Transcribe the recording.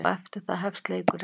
Og eftir það hefst leikurinn.